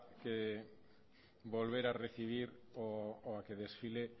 volver a recibir o a que desfile